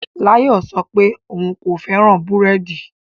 Layo sọ pé òun kò fẹ́ràn búrẹ́dì